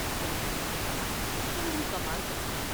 جوان عالم نے کہا تم بھی کمال کرتی ہو ۔